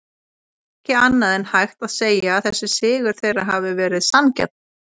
Ekki annað en hægt að segja að þessi sigur þeirra hafi verið sanngjarn.